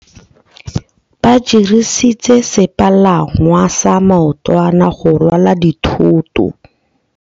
Ba dirisitse sepalangwasa maotwana go rwala dithôtô.